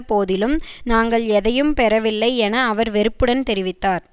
போதிலும் நாங்கள் எதையும் பெறவில்லை என அவர் வெறுப்புடன் தெரிவித்தார்